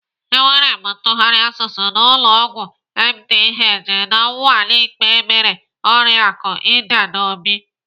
Emere m ntụgharị asụsụ n'ụlọ ọgwụ MDH na nnwale ikpe emere oriaku Edna Obi.